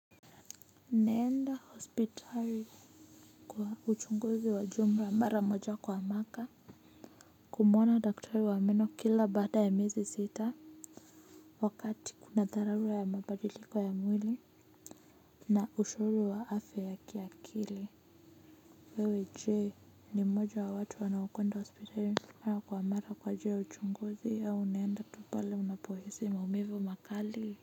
Naenda hospitali kwa uchunguzi wa jumla mara moja kwa mwaka. Kumwona daktari wa meno kila baada ya mezi sita wakati kuna dharura ya mabadiliko ya mwili na ushauri wa afya ya kiakili wewe je ni mmoja ya watu wanaokwenda hospitali mara kwa mara kwaa ajiili ya uchunguzi au unaenda tu pale unapohisi maumivu makali.